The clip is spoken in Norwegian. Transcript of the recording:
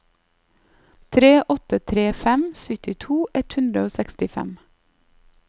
tre åtte tre fem syttito ett hundre og sekstifem